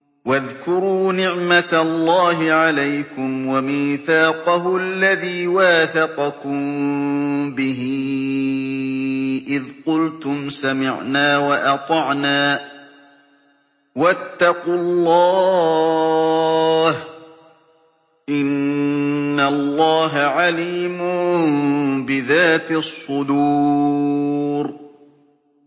وَاذْكُرُوا نِعْمَةَ اللَّهِ عَلَيْكُمْ وَمِيثَاقَهُ الَّذِي وَاثَقَكُم بِهِ إِذْ قُلْتُمْ سَمِعْنَا وَأَطَعْنَا ۖ وَاتَّقُوا اللَّهَ ۚ إِنَّ اللَّهَ عَلِيمٌ بِذَاتِ الصُّدُورِ